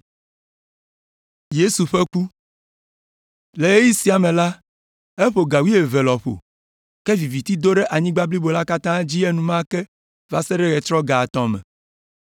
Le ɣeyiɣi sia me la, eƒo ga wuieve lɔƒo, ke viviti do ɖe anyigba blibo la katã dzi enumake va se ɖe ɣetrɔ ga etɔ̃ me.